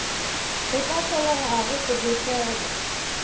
go ka hlolegago go befelwa